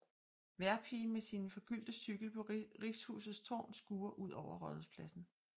Vejrpigen med sin forgyldte cykel på Richshusets tårn skuer ud over Rådhuspladsen